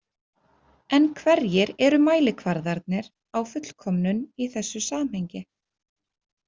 En hverjir eru mælikvarðarnir á fullkomnun í þessu samhengi?